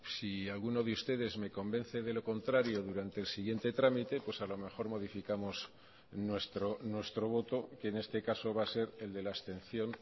si alguno de ustedes me convence de lo contrario durante el siguiente trámite pues a lo mejor modificamos nuestro voto que en este caso va a ser el de la abstención